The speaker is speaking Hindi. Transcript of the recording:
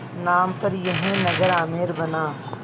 नाम पर यह नगर आमेर बना